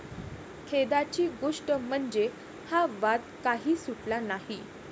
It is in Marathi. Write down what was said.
खेदाची गोष्ट म्हणजे, हा वाद काही सुटला नाही.